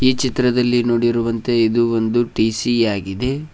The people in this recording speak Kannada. ಈ ಚಿತ್ರದಲ್ಲಿ ನೋಡಿರುವಂತೆ ಇದು ಒಂದು ಟಿ ಸಿ ಆಗಿದೆ.